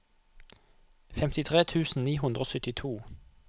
femtitre tusen ni hundre og syttito